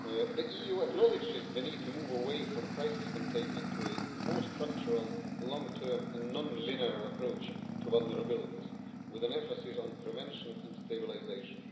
The EU acknowledges the need to move away from crisis containment to a more structural, long term and non linear approach to vulnerabilities, with an emphasis on prevention and stabilisation.